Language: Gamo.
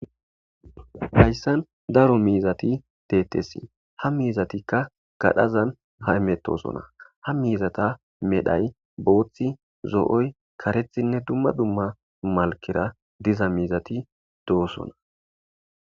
Hayisani daro mizat deetes ha mizatikka gadhdhazan hametosona ha mizata medhoyi bothi zooyi kareththatinne dumma dumma malikera deiza mizati deosoona